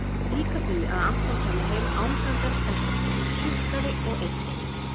Líka því að Anton kæmi heim angandi af kvenfólki, sukkaði og eyddi-